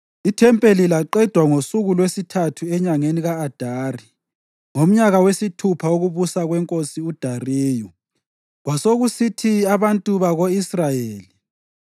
Ithempeli laqedwa ngosuku lwesithathu enyangeni ka-Adari, ngomnyaka wesithupha wokubusa kweNkosi uDariyu.